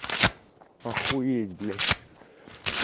охуеть блять